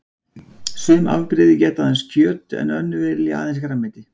Sum afbrigði éta aðeins kjöt en önnur vilja aðeins grænmeti.